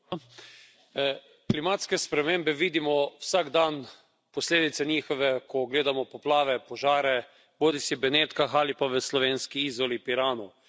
Gospod predsednik! Klimatske spremembe vidimo vsak dan, posledice njihove, ko gledamo poplave, požare, bodisi v Benetkah ali pa v slovenski Izoli, Piranu.